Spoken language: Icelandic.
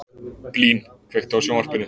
Blín, kveiktu á sjónvarpinu.